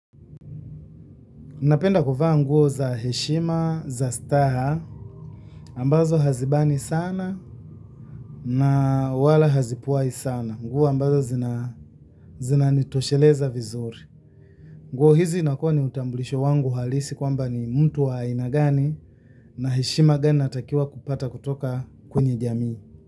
Napenda kuvaa nguo za heshima, za staha, ambazo hazibani sana na wala hazipwai sana. Nguo ambazo zina nitosheleza vizuri. Nguo hizi inakuwa ni utambulisho wangu halisi kwamba ni mtu wa aina gani na heshima gani natakiwa kupata kutoka kwenye jamii.